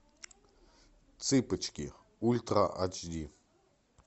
цыпочки ультра ач ди